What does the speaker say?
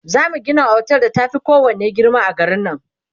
zamu Gina otel da ta Fi kowanne girma a garin nan